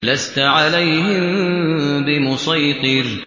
لَّسْتَ عَلَيْهِم بِمُصَيْطِرٍ